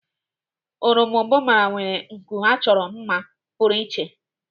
Eròmbụbara nwere nku achọrọ mma pụrụ iche.